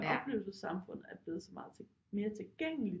Oplevelsessamfundet er blevet så meget mere tilgængeligt